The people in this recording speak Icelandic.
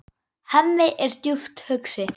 Hemmi er djúpt hugsi.